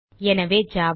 எனவே ஜாவா